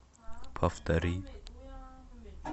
повтори